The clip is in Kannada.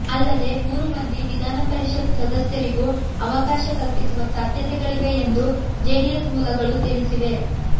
ಅಲ್ಲದೆ ಮೂರು ಮಂದಿ ವಿಧಾನಪರಿಷತ್ ಸದಸ್ಯರಿಗೂ ಅವಕಾಶ ಕಲ್ಪಿಸುವ ಸಾಧ್ಯತೆಗಳಿವೆ ಎಂದು ಜೆಡಿಎಸ್ ಮೂಲಗಳು ತಿಳಿಸಿವೆ